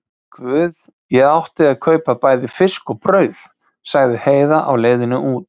Guð, ég átti að kaupa bæði fisk og brauð, sagði Heiða á leiðinni út.